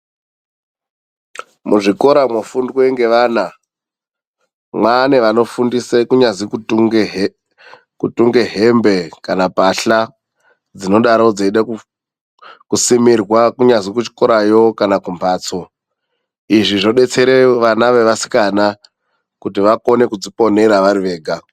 Muzvikora mwofundwe ngeana, mwane vanofundisa kunyazi kutunge hembe kana mpahla dzinodaro dzeida kusimirwa kunyazi kuchikorayo kana kumbatso. Izvi zvobetsere vana vevasikana kuti vakone kudziponera varivega